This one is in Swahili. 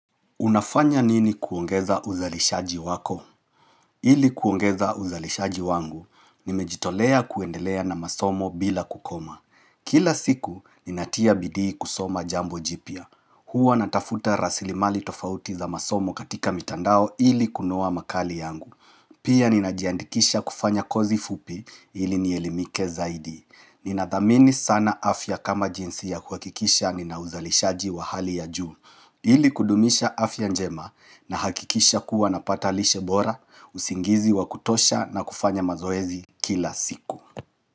Unafanya nini kuongeza uzalishaji wako? Ili kuongeza uzalishaji wangu, nimejitolea kuendelea na masomo bila kukoma. Kila siku, ninatia bidii kusoma jambo jipya. Huwa natafuta rasilimali tofauti za masomo katika mitandao ili kunoa makali yangu. Pia ninajiandikisha kufanya kozi fupi ili nielimike zaidi. Ninathamini sana afya kama jinsi ya kuhakikisha nina uzalishaji wa hali ya juu. Ili kudumisha afya njema nahakikisha kuwa napata lishe bora, usingizi wa kutosha na kufanya mazoezi kila siku.